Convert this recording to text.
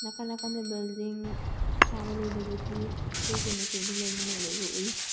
ꯅꯥꯀꯟ ꯅꯥꯀꯟꯗ ꯕ꯭ꯌꯨꯜꯗꯤꯡ ꯁꯥꯕ ꯂꯣꯏꯗꯕꯒꯤ ꯆꯦꯛꯀꯤ ꯃꯆꯨꯗꯨ ꯂꯣꯏꯅꯃꯛ ꯂꯩꯕ ꯎꯏ꯫